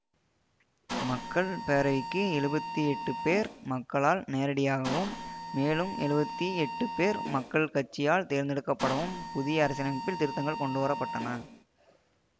மக்கள் பேரவைக்கு எழுபத்தி எட்டு பேர் மக்களால் நேரடியாகவும் மேலும் எழுபத்தி எட்டு பேர் மக்கள் கட்சியால் தேர்ந்தெடுக்கப்படவும் புதிய அரசியலமைப்பில் திருத்தங்கள் கொண்டுவர பட்டன